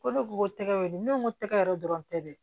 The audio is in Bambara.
Ko ne ko ko tɛgɛ weele ne ko n ko tɛgɛ yɛrɛ dɔrɔn tɛ dɛ